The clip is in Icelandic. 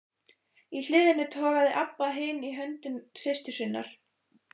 Í hliðinu togaði Abba hin í hönd systur sinnar.